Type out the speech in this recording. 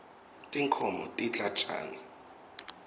tinkhoms tidla tjani